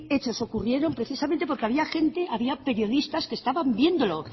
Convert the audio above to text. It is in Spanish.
hechos ocurrieron precisamente porque había gente había periodistas que estaban viéndolo